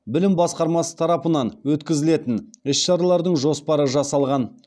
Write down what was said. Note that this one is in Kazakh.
білім басқармасы тарапынан өткізілетін іс шаралардың жоспары жасалған